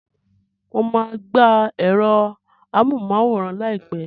Mo máa gba ẹ̀rọ amóhùnmáwòrán láìpẹ́